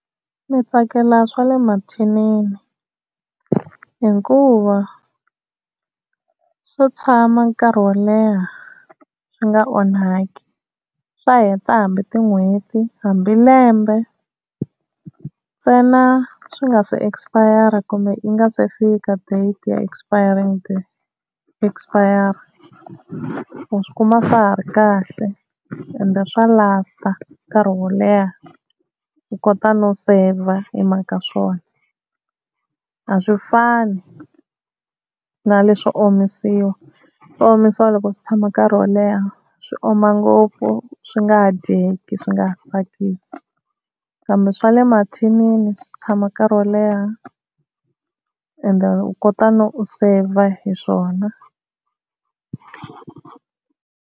Ndzi tsakela swa le mathinini hikuva swo tshama nkarhi wo leha swi nga onhaki, swa heta hambi tin'hweti hambi lembe ntsena swi nga se expire-a kumbe yi nga se fika date ya expiring date expire-a u swi kuma swa ha ri kahle ende swa last-a nkarhi wo leha u kota no save-a hi mhaka swona, a swi fani na leswo omisiwa swo omisiwa loko swi tshama nkarhi wo leha swi oma ngopfu swi nga ha dyeki swi nga ha tsakisi kambe swa le mathinini swi tshama nkarhi wo leha ende u kota no u save-a hi swona.